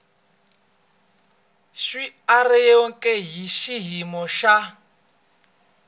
swi andlariweke hi xiyimo xa